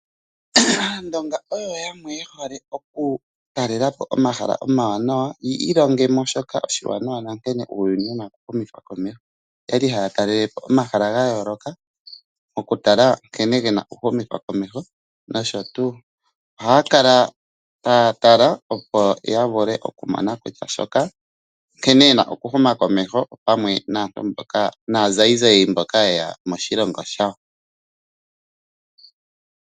Aandonga oyo yamwe ye hole oku talelapo omahala omawanawa yi ilongemo shoka oshiwanawa nankene uuyuni wuna oku humithwa komeho. Oyali haya talalepo omahala ga yoloka oku tala nkene gena oku humithwa komeho noshotu. Ohaya kala taya tala opo ya vule oku mona kutya nkene yena oku huma komeho opamwe na zayizayi mboka yeya moshilongo shawo.